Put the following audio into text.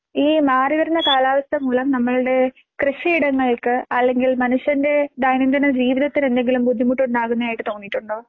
ഈ മാറിവരുന്ന കാലാവസ്ഥ മൂലം നമ്മൾടെ കൃഷിയിടങ്ങൾക്ക് അല്ലെങ്കിൽ മനുഷ്യന്റെ ദൈനംദിന ജീവിതത്തിനെന്തെങ്കിലും ബുദ്ധിമുട്ട് ഉണ്ടാകുന്നതായിട്ട് തോന്നിയിട്ടുണ്ടോ?